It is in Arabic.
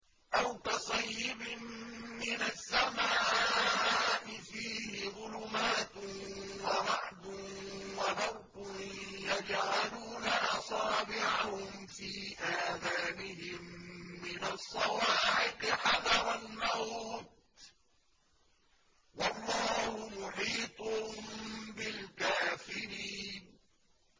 أَوْ كَصَيِّبٍ مِّنَ السَّمَاءِ فِيهِ ظُلُمَاتٌ وَرَعْدٌ وَبَرْقٌ يَجْعَلُونَ أَصَابِعَهُمْ فِي آذَانِهِم مِّنَ الصَّوَاعِقِ حَذَرَ الْمَوْتِ ۚ وَاللَّهُ مُحِيطٌ بِالْكَافِرِينَ